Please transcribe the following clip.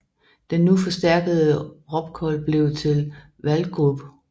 Den nu forstærkede Robcol blev til Walgroup